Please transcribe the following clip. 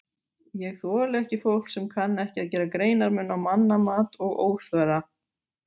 Ég þoli ekki fólk sem kann ekki að gera greinarmun á mannamat og óþverra.